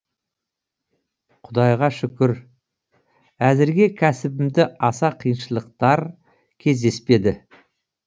құдайға шүкір әзірге кәсібімда аса қиыншылықтар кездеспеді